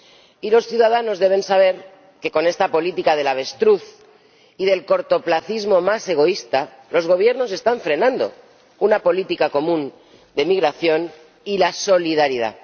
Y los ciudadanos deben saber que con esta política del avestruz y el cortoplacismo más egoísta, los Gobiernos están frenando una política común de migración y la solidaridad.